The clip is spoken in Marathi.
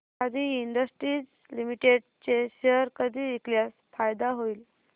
आदी इंडस्ट्रीज लिमिटेड चे शेअर कधी विकल्यास फायदा होईल